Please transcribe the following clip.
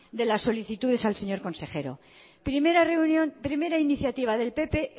de las solicitudes al señor consejero primera reunión primera iniciativa del pp